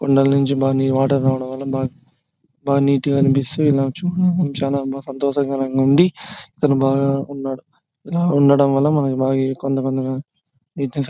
కొండల నుంచి బా వాటర్ రావడం వల్ల బా బా నీట్ గా అనిపిస్తుంది. ఇలా చూడ బాగా సంతోషంగా ఉంది. ఇలా ఉండటం వల్ల ]